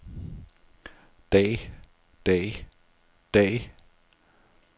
dag dag dag